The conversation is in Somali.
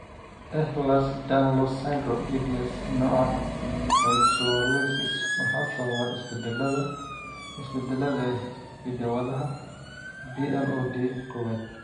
Ehlers Danlos syndrome (EDS), nooca kyphoscoliosis waxaa sababa isbeddellada (isbeddellada) ee hidda-wadaha PLOD kowad.